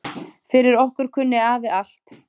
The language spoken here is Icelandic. Fyrir okkur kunni afi allt.